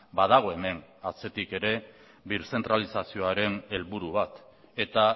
badago hemen atzetik ere birzentralizazioaren helburu bat eta